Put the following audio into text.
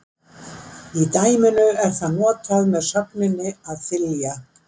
Í dæminu er það notað með sögninni að þylja.